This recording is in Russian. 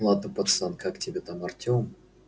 ладно пацан как тебя там артём